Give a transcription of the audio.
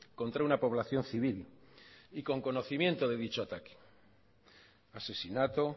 contra una población civil y con conocimiento de dicho ataque asesinato